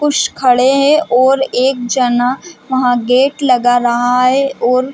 कुश खड़े है और एक जना वहाँ गेट लगा रहा है और--